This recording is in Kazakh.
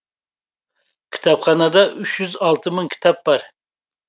кітапханада үш жүз алты мың кітап бар